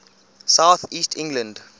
south east england